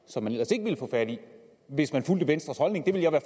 som man ellers ikke ville få fat i hvis man fulgte venstres holdning det vil jeg være